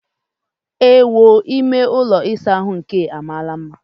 Ewoo! Ime ụlọ ịsa ahụ nke a amaala mma!